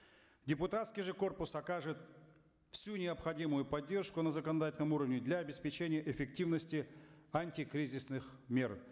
депутатский же корпус окажет всю необходимую поддержку на законодательном уровне для обеспечения эффективности антикризисных мер